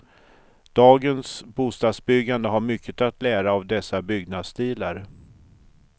Dagens bostadsbyggande har mycket att lära av dessa byggnadsstilar.